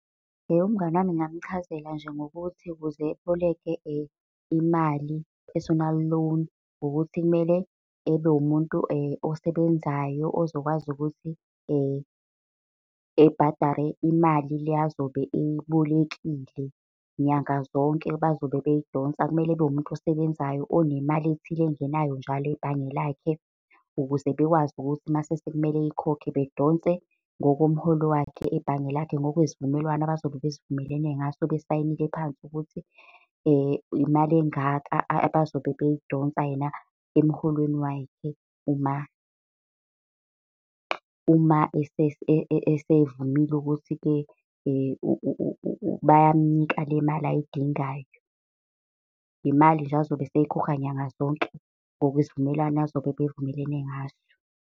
Umngani wami ngingamchazela nje ngokuthi ukuze aboleke imali, personal loan, ukuthi kumele ebe umuntu osebenzayo ozokwazi ukuthi ebhadare imali le azobe eyibolekile. Nyanga zonke bazobe beyidonsa kumele abe umuntu osebenzayo onemali ethile engenayo njalo ebhange lakhe ukuze bekwazi ukuthi uma sekumele ayikhokhe bedonse ngokomholo wakhe ebhange lakhe. ngokwesivumelwano abazobe besivumelene ngaso besayinile phansi ukuthi imali engaka abazobe beyidonsa, yena emholweni wakhe. Uma, uma esevumile ukuthi-ke bayamunika le mali ayidingayo. Imali nje azobe eseyikhokha nyanga zonke ngokwesivumelwano azobe bevumelene ngaso.